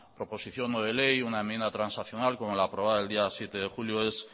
proposición no de ley una enmienda transaccional como la aprobada el día siete de julio es